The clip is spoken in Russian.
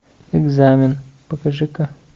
экзамен покажи ка